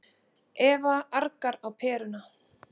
Eva argar á perurnar.